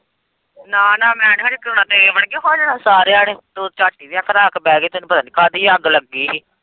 ਨਾ-ਨਾ ਮੈਂ ਨੀ ਹਜੇ ਕਰਵਾਉਣਾ ਤੇਰੇ ਵਰਗੇ ਹੋ ਜਾਣਾ ਸਾਰਿਆਂ ਨੇ ਤੂੰ ਤੇ ਝੱਟ ਹੀ ਵਿਆਹ ਕਰਵਾਂ ਕੇ ਬਹਿ ਗਈ ਤੈਨੂੰ ਪਤਾ ਨੀ ਕਾਹਦੀ ਅੱਗ ਲੱਗੀ ਹੀ।